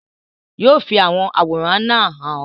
yóò fi àwọn àwòrán náà hàn ọ́.